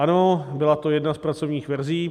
Ano, byla to jedna z pracovních verzí.